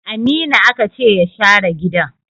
Aminu aka ce ya share gidan!